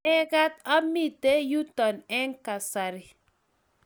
Mamekat amite yuto eng' kasari